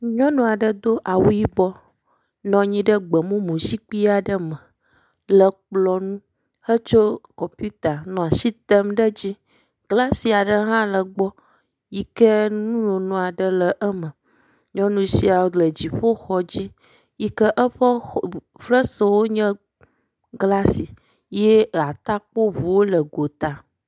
Nyɔnu aɖe do awu yibɔ nɔ anyi ɖe gbemumu zikpui aɖe me le kplɔ nu hetso kɔpita nɔ asi tem ɖe edzi, glasi aɖe hã le egbɔ yi ke nunono aɖe le eme, nyɔnu sia le dziƒoxɔ dzi yi ke eƒe xɔ ..ebu..ferswo nye glasi ye atakpɔ ŋuwo le gota.